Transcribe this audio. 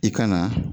I ka na